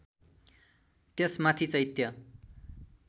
त्यसमाथि चैत्य